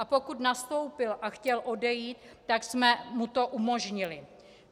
A pokud nastoupil a chtěl odejít, tak jsme mu to umožnili.